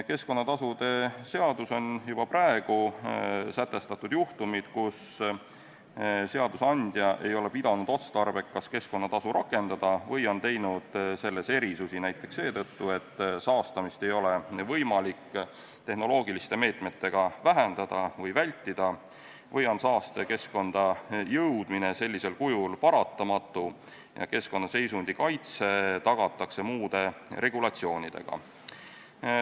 Keskkonnatasude seaduses on juba praegu sätestatud juhtumid, kui seadusandja ei ole pidanud otstarbekaks keskkonnatasu rakendada või on teinud selles erisusi näiteks seetõttu, et saastamist ei ole võimalik tehnoloogiliste meetmetega vähendada või vältida või on saaste keskkonda jõudmine sellisel kujul paratamatu ja keskkonnaseisundi kaitse tagatakse muude regulatsioonidega.